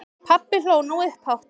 Pabbi hló nú upphátt.